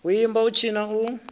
u imba u tshina u